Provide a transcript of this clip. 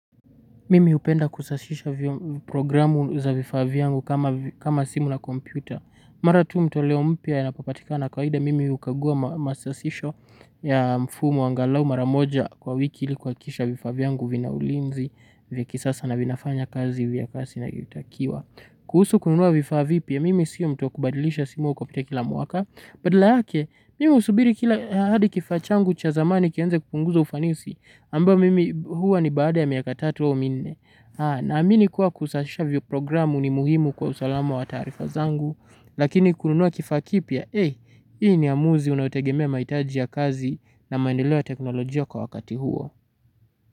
Mimi hupenda kusashisha programu za vifaa vyangu kama simu na kompyuta. Mara tu mtoleo mpya yanapopatikana kawaida mimi hukagua masashisho ya mfumo angalau mara moja kwa wiki ili kuhakikisha vifaa vyangu vina ulinzi vya kisasa na vinafanya kazi vya kasi inavyotakiwa. Kuhusu kununua vifaa vipya mimi sio mtu wa kubadilisha simu kupitia kila mwaka. Badala yake, mimi husubiri kila hadi kifaa changu cha zamani kianze kupunguza ufanisi, ambao mimi huwa ni baada ya miaka tatu au minne. Naamini kuwa kusasisha vyiprogramu ni muhimu kwa usalamu wa taarifa zangu, lakini kununua kifaa kipya, eh, hii ni amuzi inayotegemea mahitaji ya kazi na maendeleo ya teknolojia kwa wakati huo.